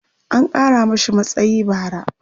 an Kara mashi matsayi bara